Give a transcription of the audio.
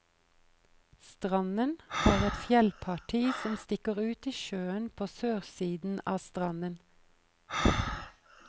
Stranden har et fjellparti som stikker ut i sjøen på sørsiden av stranden.